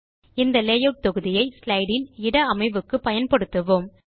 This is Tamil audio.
இந்த லேயூட் தொகுதியை ஸ்லைடு இன் இட அமைவுக்கு பயன்படுத்துவோம்